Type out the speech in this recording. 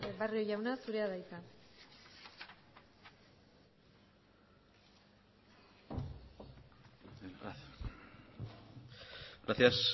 barrio jauna zurea da hitza gracias